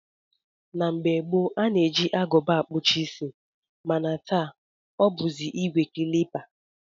Na mgbe gboo, a na-eji Agụba akpụcha isi mana taa ọ bụzi ìgwè klipa